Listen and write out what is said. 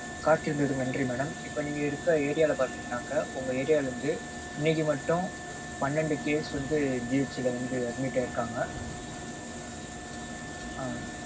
காத்திருந்ததுக்கு நன்றி madam. இப்போ நீங்க இருக்க area ல பாத்தீங்கனாக்க உங்க area ல இருந்து இன்னைக்கு மட்டும் பன்னெண்டு cases வந்து GH ல வந்து admit ஆயிருக்காங்க.